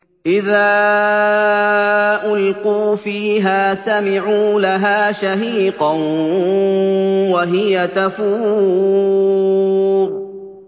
إِذَا أُلْقُوا فِيهَا سَمِعُوا لَهَا شَهِيقًا وَهِيَ تَفُورُ